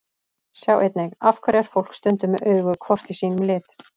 Sjá einnig: Af hverju er fólk stundum með augu hvort í sínum lit?